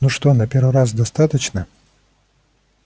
ну что на первый раз достаточно